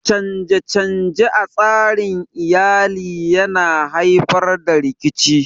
Canje-canje a tsarin Iyali yana haifar da rikici